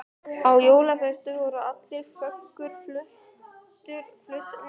Á jólaföstu voru allar föggur fluttar úr gamla bænum í nýja Sæból.